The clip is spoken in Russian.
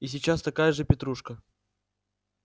и сейчас такая же петрушка